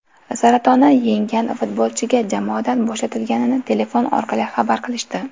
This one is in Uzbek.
Saratonni yenggan futbolchiga jamoadan bo‘shatilganini telefon orqali xabar qilishdi.